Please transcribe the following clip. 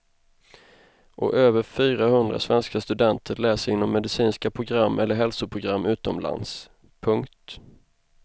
Och över fyra hundra svenska studenter läser inom medicinska program eller hälsoprogram utomlands. punkt